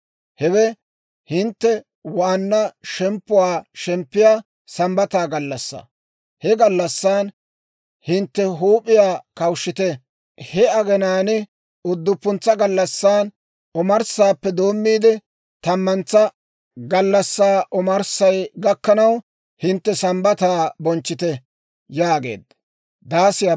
Hewe hintte waanna shemppuwaa shemppiyaa Sambbata gallassaa. He gallassan hintte huup'iyaa kawushshite. He aginaan udduppuntsa gallassan omarssaappe doommiide, tammantsa gallassaa omarssay gakkanaw, hintte Sambbataa bonchchite» yaageedda.